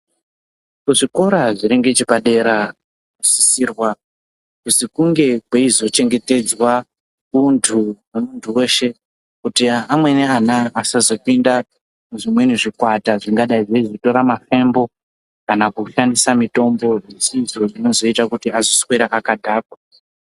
Ku zvikora zviri ngeche padera zvino sisirwa kuzi kunge kweizo chengetedzwa untu hwe muntu weshe kuti amweni ana asazo pinda mu zvimweni zvikwata zvinga dai zveizo tora mafembo kana kushandisa mitombo zvisizvo zvino zoita kuti azo swera akadhakwa.